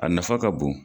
A nafa ka bon